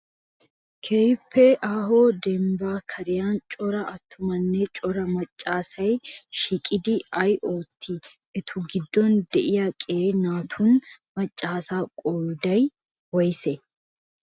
Keehippe aaho dambba kariyan cora attumanne cora macca asay shiiqidi ay ootti? Eta giddon de'iyaa qeeri naatunne macca asa qoodayi woyisee?